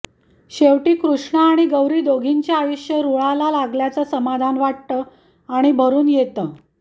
शेवटी कृष्णा आणि गौरी दोघींचे आयुष्य रुळाला लागल्याचं समाधान वाटतं आणि भरून येतं